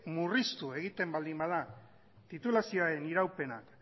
murriztu egiten baldin bada titulazioaren iraupena